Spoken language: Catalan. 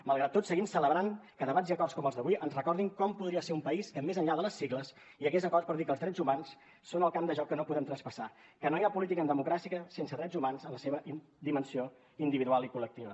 malgrat tot seguim celebrant que debats i acords com els d’avui ens recordin com podria ser un país que més enllà de les sigles hi hagués acord per dir que els drets humans són el camp de joc que no podem traspassar que no hi ha política en democràcia sense drets humans en la seva dimensió individual i col·lectiva